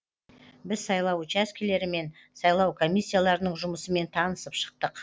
біз сайлау учаскелері мен сайлау комиссияларының жұмысымен танысып шықтық